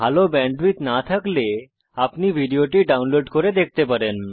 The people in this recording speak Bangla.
যদি ভাল ব্যান্ডউইডথ না থাকে তাহলে আপনি ভিডিও টি ডাউনলোড করে দেখতে পারেন